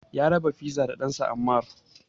Ya raba fiza da ɗansa Ammar.